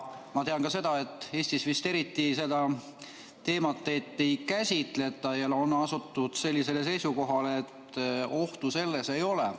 Ma tean ka seda, et Eestis vist eriti seda teemat ei käsitleta ja on asutud seisukohale, et ohtu selles ei ole.